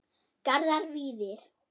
Garðar Víðir.